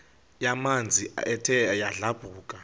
yamanzi ethe yadlabhuka